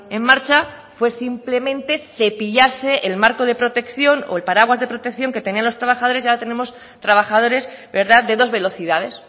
en marcha fue simplemente cepillarse el marco de protección o el paraguas de protección que tenían los trabajadores y ahora tenemos trabajadores de dos velocidades